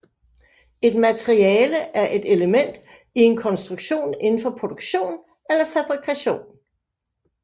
Et materiale er et element i en konstruktion inden for produktion eller fabrikation